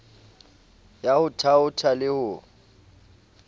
ya ho thaotha le ho